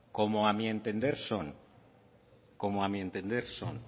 como a mi entender son como a mi entender son